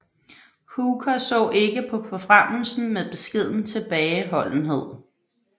Hooker så ikke på forfremmelsen med beskeden tilbageholdenhed